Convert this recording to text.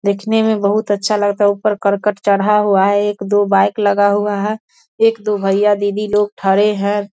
दिखने में बोहोत अच्छा लगता है ऊपर करकट चढ़ा हुआ है। एक-दो बाइक लगा हुआ हैं। एक-दो भईया दीदी लोग थड़े हैं।